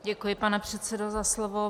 Děkuji, pane předsedo, za slovo.